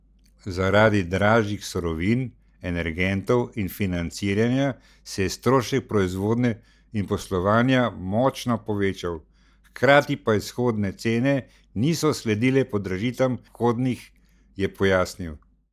Zaradi dražjih surovin, energentov in financiranja se je strošek proizvodnje in poslovanja močno povečal, hkrati pa izhodne cene niso sledile podražitvam vhodnih, je pojasnil.